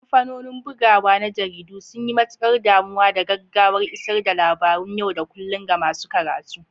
Kamfanonin bugawa na jaridu sun yi matukar damuwa da gaggawar isar da labaran yau da kullun ga masu karatu.